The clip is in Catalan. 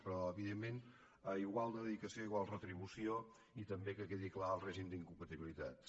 però evidentment a igual dedicació igual retribució i també que quedi clar el règim d’incompatibilitats